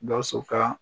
Gawusu ka